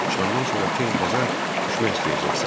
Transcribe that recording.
Çıxandan sonra tez bazar düşmək istəyəcəksən.